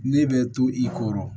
Ne bɛ to i kɔrɔ